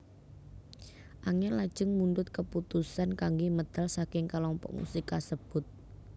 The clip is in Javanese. Angel lajeng mundhut kaputusan kanggé medal saking kalompok musik kasebut